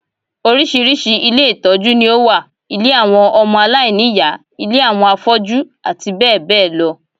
Oríṣiríṣi ilé ìtọ́jú ni ó wà: ilé àwọn ọmọ aláìní ìyá, ilé àwọn afọ́jú, àti bẹ́ẹ̀ bẹ́ẹ̀ lọ